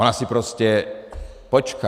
Ona si prostě počká.